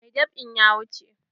Mai dab'in ya wuce.